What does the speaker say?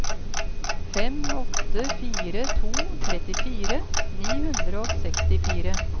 fem åtte fire to trettifire ni hundre og sekstifire